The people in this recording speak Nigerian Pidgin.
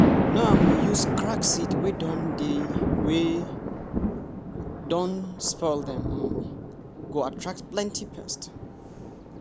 no um use cracked seed wey don dey wey don dey spoil dem um go attract plenty pests!